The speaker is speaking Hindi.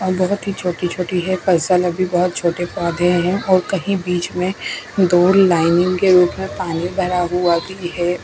और बहोत ही छोटी-छोटी है अभी छोटे पौधे हैं और कही बीच में दूर लाइनिंग के ऊपर पानी भरा हुआ भी है।